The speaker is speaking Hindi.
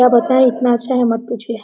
क्या बताये इतना अच्छा है मत पूछिए।